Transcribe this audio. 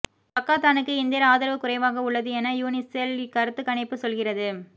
பக்காத்தானுக்கு இந்தியர் ஆதரவு குறைவாக உள்ளது என யூனிசெல் கருத்துக் கணிப்பு சொல்கிறது